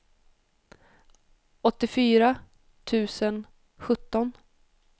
åttiofyra tusen sjutton